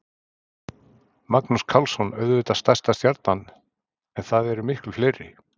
Magnús Karlsson auðvitað stærsta stjarnan en það eru miklu fleiri?